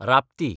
Rapti